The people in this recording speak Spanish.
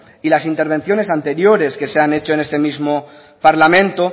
y las intervenciones anteriores que se han hecho en este mismo parlamento